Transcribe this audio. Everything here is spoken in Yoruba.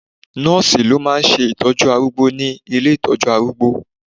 Nọ́ọ̀sì ló máà ń ṣe ìtọ́jú arúgbó ní ile ìtọ́jú arúgbó